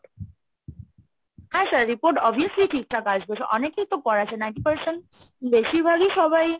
হ্যাঁ sir report obviously ঠিকঠাক আসবে, অনেকেই তো করাচ্ছে ninety percent বেশিরভাগই সবাই।